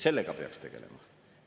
Sellega peaks tegelema.